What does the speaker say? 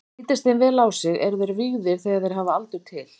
Lítist þeim vel á sig, eru þeir vígðir þegar þeir hafa aldur til.